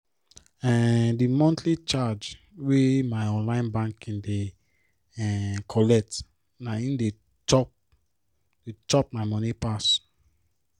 um the monthly charge wey my online banking app dey um collect na hin dey chop dey chop my money pass.